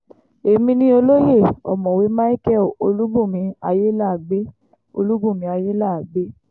èmi ni olóye ọ̀mọ̀wé micheal olùbùnmi ayéláàgbẹ̀ olùbùnmi ayéláàgbẹ̀